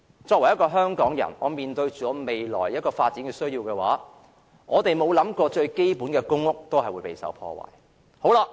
作為香港人，面對未來的發展需要，我們沒有想過最基本的公屋權利都會遭受破壞。